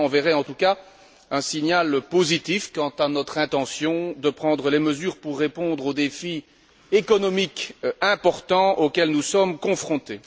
Cela enverrait en tout cas un signal positif quant à notre intention de prendre les mesures pour répondre au défi économique important auquel nous sommes confrontés.